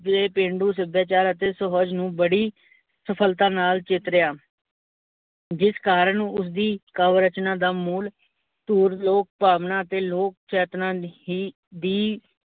ਇਹ ਪੇਂਡੂ ਸਭਿਆਚਾਰ ਤੇ ਸਹਿਜ ਨੂੰ ਬੜੀ ਸਫਲਤਾ ਨਾਲ ਚੇਤਰਿਆ ਜਿਸ ਕਾਰਨ ਉਸਦੀ ਕਾਵ ਰਚਨਾ ਦਾ ਮੂਲ ਧੁਰ ਲੋਕ ਭਾਵਨਾ ਅਤੇ ਲੋਕ ਚੇਤਨਾ ਹੀ ਦੀ